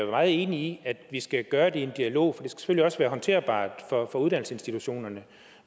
meget enig i at vi skal gøre det i en dialog for det skal selvfølgelig også være håndterbart for uddannelsesinstitutionerne